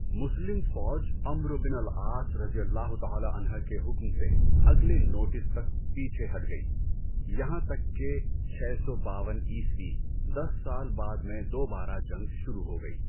مسلم فوج عَمرو بن العاص رضی اللہ تعالیٰ عنہ کے حکم سے اگلے نوٹس تک پیچھے ہٹ گئی یہاں تک کہ چھ سو باون عیسوی، دس سال بعد میں دوبارہ جنگ شروع ہو گئی۔